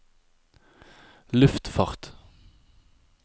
luftfart